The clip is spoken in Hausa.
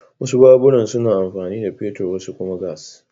Wasu baburan suna amfani da fetur wasu kuma gas.